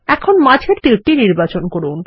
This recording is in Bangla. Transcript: এখন মাঝের তীরটি নির্বাচন করুন